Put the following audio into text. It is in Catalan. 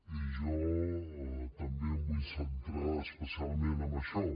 i jo també em vull centrar especialment en això